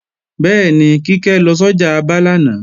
Bẹ́ẹ̀ni, Kíkẹ́ lọ sọ́jà Aba lánàá